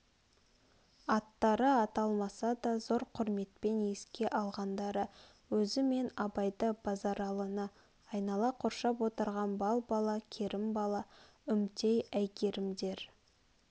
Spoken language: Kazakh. аттары аталмаса да зор құрметпен еске алғандары өзі мен абайды базаралыны айнала қоршап отырған балбала кермбала үмтей әйгерімдер